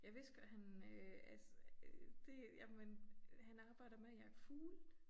Jeg vidste godt han øh altså øh det jamen han arbejder med at jagte fugle